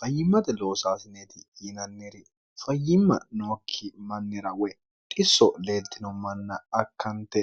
fayyimmate loosaasineeti yiinanniri fayyimma nookki mannira woy disso leeltino manna akkante